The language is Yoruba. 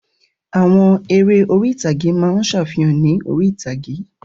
Àwọn eré orí-ìtàgé máa ń ṣàfihàn ní orí-ìtàgé